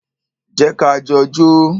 Jẹ́ ka jọ jó.